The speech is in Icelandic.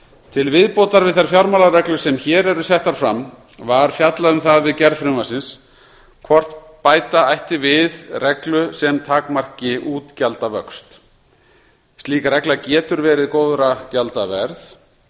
til viðbótar við þær fjármálareglur sem hér eru settar fram var fjallað um það við gerð frumvarpsins hvort bæta ætti við reglu sem takmarki útgjaldavöxt slík regla getur verið góðra gjalda verð